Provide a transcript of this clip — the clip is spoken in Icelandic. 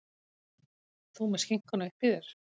Þú með skinkuna uppí þér.